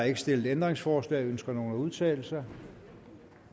ikke stillet ændringsforslag ønsker nogen at udtale sig